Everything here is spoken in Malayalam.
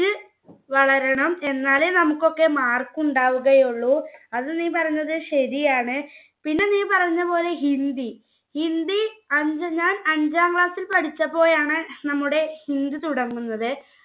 വളരണം. എന്നാലേ നമ്മുക്കൊക്കെ mark ഉണ്ടാവുകയുള്ളു. അത് നീ പറഞ്ഞത് ശരിയാണ്. പിന്നെ നീ പറഞ്ഞപോലെ hindi, hindi. ഞാൻ അഞ്ചാം class ൽ പഠിച്ചപ്പോളാണ് നമ്മുടെ hindi തുടങ്ങുന്നത്.